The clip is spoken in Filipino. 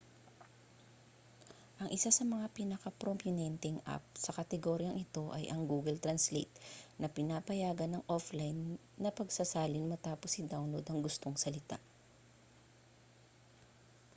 ang isa sa mga pinakaprominenteng app sa kategoryang ito ay ang google translate na pinapayagan ang offline na pagsasalin matapos i-download ang gustong salita